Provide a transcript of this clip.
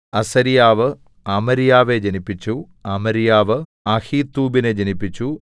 അസര്യാവ് അമര്യാവെ ജനിപ്പിച്ചു അമര്യാവ് അഹീത്തൂബിനെ ജനിപ്പിച്ചു